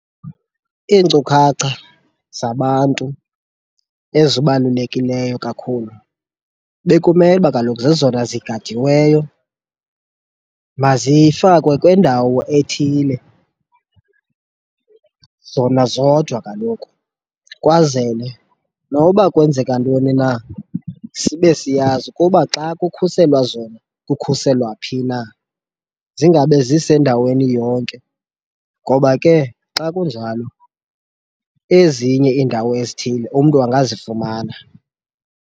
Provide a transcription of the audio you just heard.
Iinkcukhacha zabantu ezibalulekileyo kakhulu bekumele uba kaloku zezona zigadiweyo. Mazifakwe kwindawo ethile zona zodwa kaloku kwazele noba kwenzeka ntoni na, sibe siyazi ukuba xa kukhuselwa zona kukhuselwa phi na zingabe zisendaweni yonke..Ngoba ke xa kunjalo ezinye iindawo ezithile, umntu angazifumana.